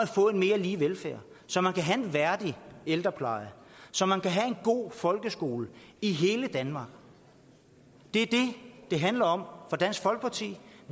få en mere lige velfærd så man kan have en værdig ældrepleje så man kan have en god folkeskole i hele danmark det er det det handler om for dansk folkeparti